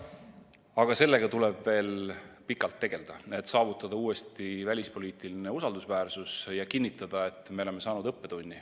Aga sellega tuleb veel pikalt tegeleda, et saavutada uuesti välispoliitiline usaldusväärsus, ja tuleb kinnitada, et me oleme saanud õppetunni.